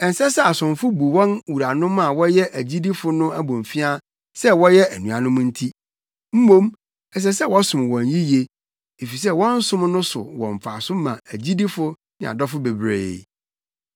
Ɛnsɛ sɛ asomfo bu wɔn wuranom a wɔyɛ agyidifo no abomfiaa sɛ wɔyɛ anuanom nti. Mmom ɛsɛ sɛ wɔsom wɔn yiye, efisɛ wɔn som no so wɔ mfaso ma agyidifo ne adɔfo bebree.